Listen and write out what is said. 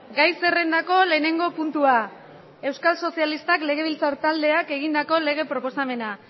gai zerrendako lehenengo puntua euskal sozialistak legebiltzar taldeak egindako lege proposamena